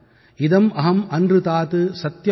இதமஹம்ந்ருதாத் சத்யமுபைமி